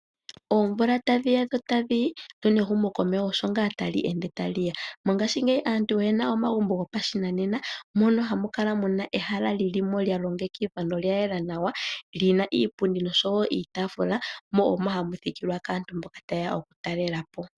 Oomvula tadhi ya dho tadhi yi, lyo nehumokomeho osho ngaa tali ende tali ya. Mongashingeyi aantu oye na omagumbo gopashinanena, mono hamu kala mu na ehala li li mo lya longekidhwa nolya yela nawa, li na iipundi nosho wo iitafula mo omo ha mu thikilwa kaantu mboka taye ya okutalela po.